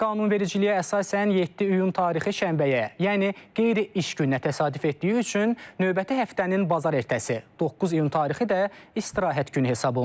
Qanunvericiliyə əsasən 7 iyun tarixi şənbəyə, yəni qeyri-iş gününə təsadüf etdiyi üçün növbəti həftənin bazar ertəsi, 9 iyun tarixi də istirahət günü hesab olunur.